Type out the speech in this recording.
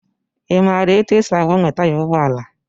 I maara etu e si agbanwe taya ụgbọala?